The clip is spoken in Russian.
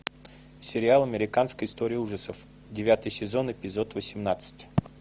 сериал американская история ужасов девятый сезон эпизод восемнадцать